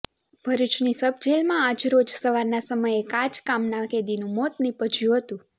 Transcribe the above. ભરૃચની સબજેલમાં આજરોજ સવારના સમયે કાચા કામના કેદીનું મોત નિપજયુ હતુ